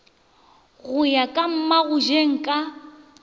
go ya ka mmagojeng ka